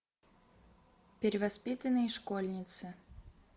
перевоспитанные школьницы